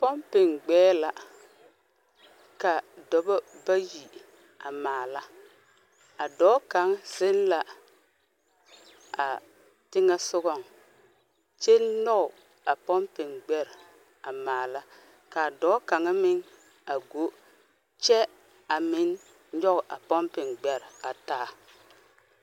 Pɔmpeŋ gbɛɛ la ka dɔbɔ bayi a maala. A dɔɔ kaŋ zeŋ la a teŋɛsogɔŋ kyɛ nɔɔ a pɔmpeŋ gbɛr a maala. Ka dɔɔ kaŋa meŋ a go kyɛ a meŋ nyɔɔ a pɔmpeŋ gbɛr a taa.